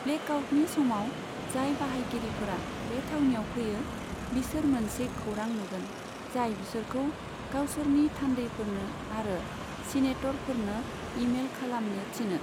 ब्लेकआउटनि समाव जाय बाहायगिरिफोरा बे थावनियाव फैयो बिसोर मोनसे खौरां नुगोन, जाय बिसोरखौ गावसोरनि थान्दैफोरनो आरो सीनेटरफोरनो ईमेइल खालामनो थिनो।